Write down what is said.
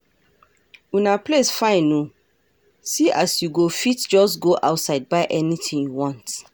Una place fine oo see as you go fit just go outside buy anything you want